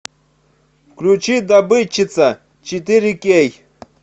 включи добытчица четыре кей